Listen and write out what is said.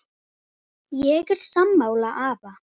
Ég er sammála afa.